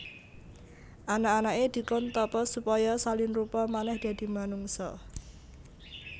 Anak anaké dikon tapa supaya salin rupa manèh dadi manungsa